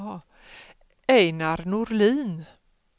Ejnar Norlin